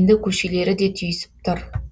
енді көшелері де түйісіп тұр